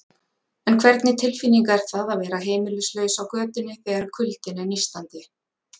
En hvernig tilfinning er það að vera heimilislaus á götunni, þegar kuldinn er nístandi?